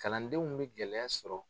Kalandenw bɛ gɛlɛya sɔrɔ.